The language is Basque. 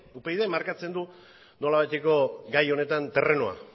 upydk markatzen du nolabaiteko gai honetan terrenoa